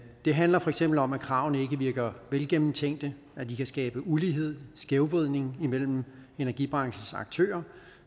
det handler for eksempel om at kravene ikke virker velgennemtænkte at de kan skabe ulighed skævvridning imellem energibranchens aktører